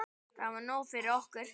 Það var nóg fyrir okkur.